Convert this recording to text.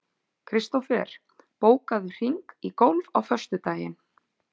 Kristofer, bókaðu hring í golf á föstudaginn.